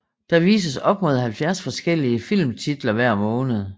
Der vises op mod 70 forskellige filmtitler hver måned